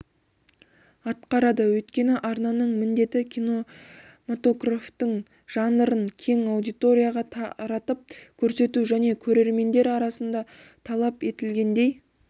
атқарады өйткені арнаның міндеті кинематографтың жанрын кең аудиторияға таратып көрсету және көрермендер арасында талап етілгендей